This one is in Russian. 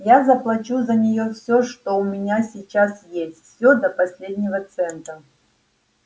я заплачу за неё всё что у меня сейчас есть всё до последнего цента